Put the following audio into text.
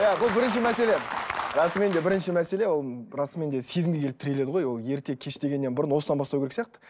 иә бұл бірінші мәселе і расымен де бірінші мәселел ол расымен де сезімге келіп тіреледі ғой ол ерте кеш дегеннен бұрын осыдан бастау керек сияқты